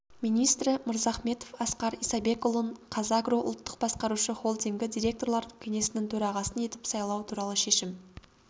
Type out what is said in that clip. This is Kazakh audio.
министрі мырзахметов асқар исабекұлын қазагро ұлттық басқарушы холдингі директорлар кеңесінің төрағасы етіп сайлау туралы шешім